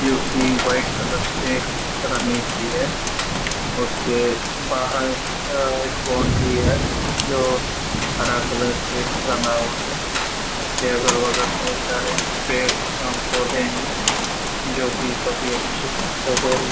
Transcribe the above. जो की white colour से रंगी हुई है उसके बाहर अ एक बाउंड्री है जो हरा कलर से रंगा हुआ है उसके अगल-बगल ढेर सारे पेड़-पौधे है जो की अच्छे --